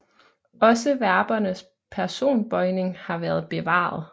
Også verbernes personbøjning har været bevaret